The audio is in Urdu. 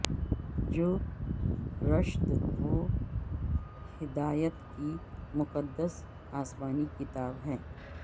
جو رشد و بدایت کی مقدس اسمانی کتاب ھے